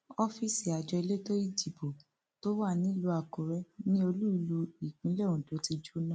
ọfíìsì àjọ elétò ìdìbò tó wà nílùú àkúrẹ ni olúìlú ìpínlẹ ondo ti jóná